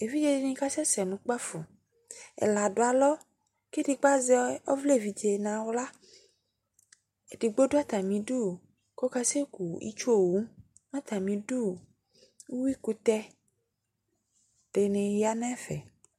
Evidze di ni kasɛsɛ nʋ kpafo Ɛla dʋ alɔ kʋ edigbo azɛ ɔvla evidze nʋ aɣla Edigbo dʋ atami dʋ kʋ ɔkasɛ ku itsu owu Mɛ atami idu, mʋ uwui kʋtɛ di ni ya nɛfɛ